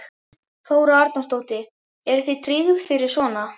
Þóra Arnórsdóttir: Eru þið tryggð fyrir svona?